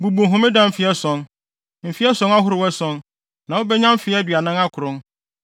“ ‘Bubu Homeda mfe ason, mfe ason ahorow ason, na wubenya mfe aduanan akron.